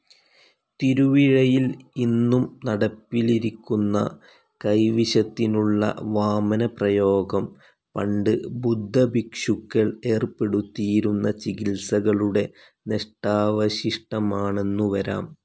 തിരുവിഴയിൽ ഇന്നും നടപ്പിലിരിക്കുന്ന കൈവിഷത്തിനുള്ള വാമനപ്രയോഗം പണ്ട് ബുദ്ധഭിക്ഷുക്കൾ ഏർപ്പെടുത്തിയിരുന്ന ചികിത്സകളുടെ നഷ്ടാവശിഷ്ടമാണെന്നുവരാം.